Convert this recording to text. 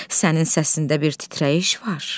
Sənin səsində bir titrəyiş var.